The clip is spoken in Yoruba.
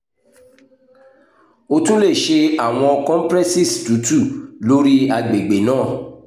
o tun le ṣe awọn compresses tutu lori agbegbe naa